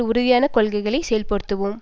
உறுதியான கொள்கைகளை செயல்படுத்துவோம்